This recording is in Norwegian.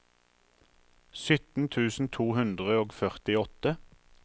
sytten tusen to hundre og førtiåtte